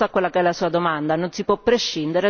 Non si può prescindere dall'una e dall'altra cosa.